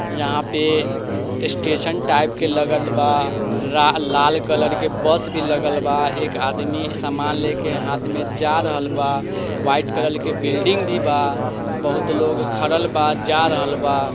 यहा पे station type के लगत बा। रा-लाल कलर बस भी लगल बा। एक आदमी सामान लेके हाथ में जा रहल बा। वाईट कलल के बिल्डिंग भी बा। बहुत लोग खड़ल बा जा रहल बा।